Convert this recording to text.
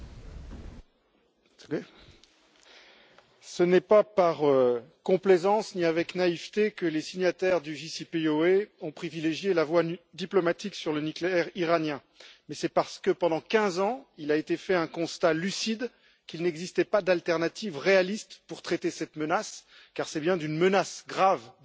Monsieur le Président, ce n'est pas par complaisance ni avec naïveté que les signataires du JCPOA ont privilégié la voie diplomatique sur le nucléaire iranien, mais c'est parce que pendant 15 ans, il a été fait un constat lucide, à savoir qu'il n'existait pas d'alternative réaliste pour traiter cette menace, car c'est bien d'une menace grave dont il s'agit.